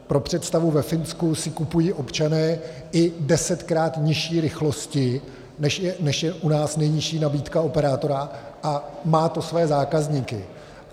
Pro představu, ve Finsku si kupují občané i desetkrát nižší rychlosti, než je u nás nejnižší nabídka operátora, a má to svoje zákazníky.